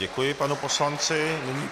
Děkuji panu poslanci.